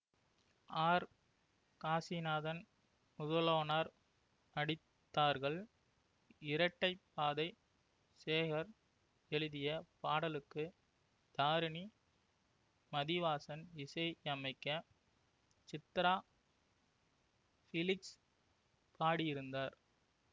R Kasinathan முதலொனோர் நடித்தார்கள் இரட்டைப்பாதை சேகர் எழுதிய பாடலுக்கு தாரணி மதிவாசன் இசையமைக்க சித்திரா பிலிக்ஸ் பாடியிருந்தார்